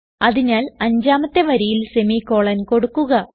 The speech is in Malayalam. അതിനാൽ അഞ്ചാമത്തെ വരിയിൽ സെമിക്കോളൻ കൊടുക്കുക